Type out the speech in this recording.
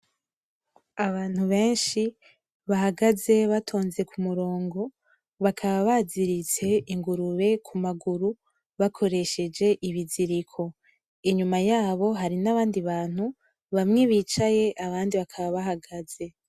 Abantu benshi bahagaze batonze ku murongo, bakaba baziritse ingurube ku maguru bakoresheje ibiziriko, inyuma yabo hari n'abandi bantu bamwe bicaye abandi bakaba bahagaze.